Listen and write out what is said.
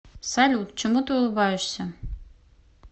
салют чему ты улыбаешься